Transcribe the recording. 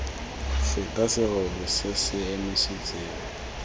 feta serori se se emisitseng